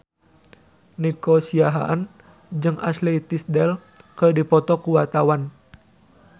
Nico Siahaan jeung Ashley Tisdale keur dipoto ku wartawan